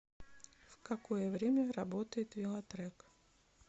в какое время работает велотрек